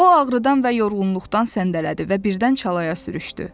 O ağrıdan və yorğunluqdan səndələdi və birdən çalaya sürüşdü.